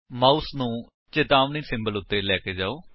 mouse ਨੂੰ ਚਿਤਾਵਨੀ symbol ਉੱਤੇ ਲੈ ਜਾਓ